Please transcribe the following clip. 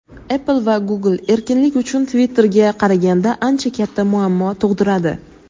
Apple va Google erkinlik uchun Twitter’ga qaraganda ancha katta muammo tug‘diradi.